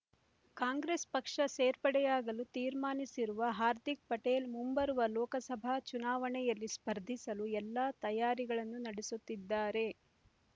ಕಾಂಗ್ರೆಸ್ ಪಕ್ಷ ಸೇರ್ಪಡೆಯಾಗಲು ತೀರ್ಮಾನಿಸಿರುವ ಹಾರ್ದಿಕ್ ಪಟೇಲ್ ಮುಂಬರುವ ಲೋಕಸಭಾ ಚುನಾವಣೆಯಲ್ಲಿ ಸ್ಪರ್ಧಿಸಲು ಎಲ್ಲಾ ತಯಾರಿಗಳನ್ನು ನಡೆಸುತ್ತಿದ್ದಾರೆ